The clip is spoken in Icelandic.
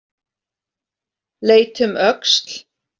Leit um öxl.